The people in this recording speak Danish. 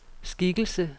skikkelse